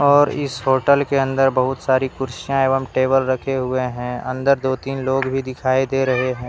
और इस होटल के अंदर बहुत सारी कुर्सियां एवं टेबल रखे हुए हैं अंदर दो तीन लोग भी दिखाई दे रहे हैं।